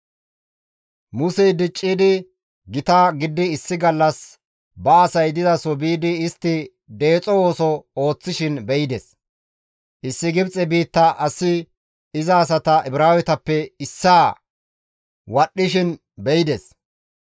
Musey diccidi gita gididi issi gallas ba asay dizaso biidi istti deexo ooso ooththishin be7ides. Issi Gibxe biitta asi iza asata Ibraawetappe issaa wadhdhishin be7ides.